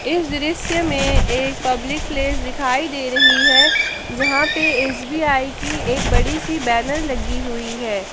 इस दृश्य में एक पब्लिक प्लेस दिखाई दे रही है जहां पे एस_बी_आई की एक बड़ी सी बैनर लगी हुई है।